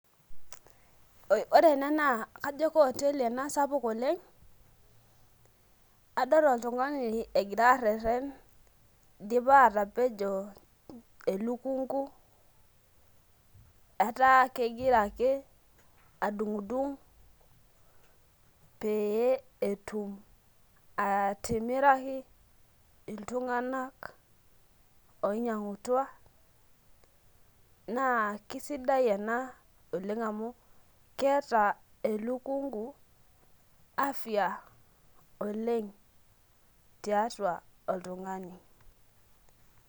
Ore ena na kajo kaoteli ena sapuk oleng adol oltungani egira erern idipa atapejo elukungu ataa kegira ake adungdung petumoki atimiraki ltunganak oinyangutua na kesidia ena oleng amu keeta elukungu afya oleng tiatua oltungani.